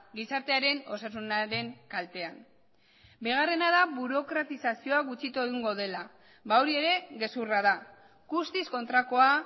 gizartearen osasunaren kaltean bigarrena da burokratizazioa gutxitu egingo dela ba hori ere gezurra da guztiz kontrakoa